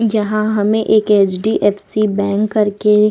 यहां हमें एक एच.डी.एफ.सी. बैंक करके --